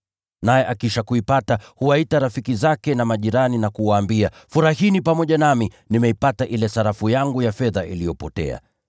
Naye akiisha kuipata, huwaita rafiki zake na majirani na kuwaambia, ‘Furahini pamoja nami; nimeipata ile sarafu yangu ya fedha iliyopotea.’